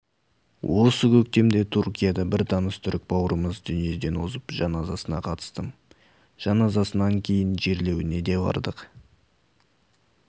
осы көктемде түркияда бір таныс түрік бауырымыз дүниеден озып жаназасына қатыстым жаназасынан кейін жерлеуіне де бардық